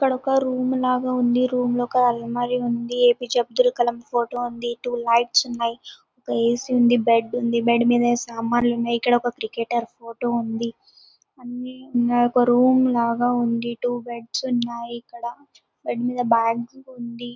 ఇక్కడొక రూమ్ లాగా ఉంది. రూమ్ లో ఒక అలమర ఉంది. ఏపీజే అబ్దుల్ కలాం ఫోటో ఉంది. టూ లైట్స్ ఉన్నాయ్. ఒక ఏసీ ఉంది. బెడ్ ఉంది. బెడ్ మీద సామానులు ఉన్నాయ్. ఇక్కడ ఒక క్రికెటర్ ఫోటో ఉంది. అన్ని ఒక రూమ్ లాగా ఉంది. టూ బెడ్స్ ఉన్నాయి ఇక్కడ. బెడ్స్ మీద బ్యాగ్స్ ఉంది.